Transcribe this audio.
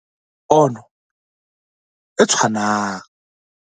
Ho ba le pono e tshwanang